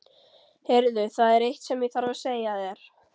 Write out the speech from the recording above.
Heyrðu. það er eitt sem ég þarf að segja þér!